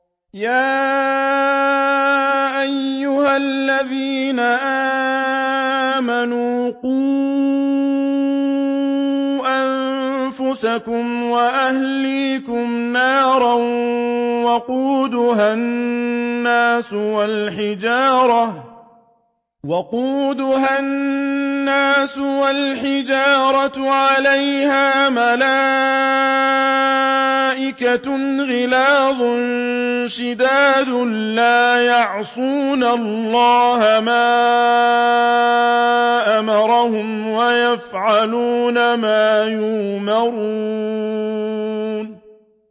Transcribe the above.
يَا أَيُّهَا الَّذِينَ آمَنُوا قُوا أَنفُسَكُمْ وَأَهْلِيكُمْ نَارًا وَقُودُهَا النَّاسُ وَالْحِجَارَةُ عَلَيْهَا مَلَائِكَةٌ غِلَاظٌ شِدَادٌ لَّا يَعْصُونَ اللَّهَ مَا أَمَرَهُمْ وَيَفْعَلُونَ مَا يُؤْمَرُونَ